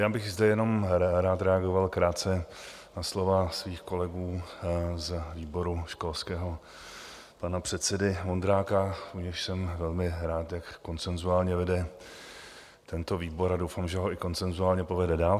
Já bych zde jenom rád reagoval krátce na slova svých kolegů z výboru školského, pana předsedy Vondráka, u nějž jsem velmi rád, jak konsenzuálně vede tento výbor, a doufám, že ho i konsenzuálně povede dál.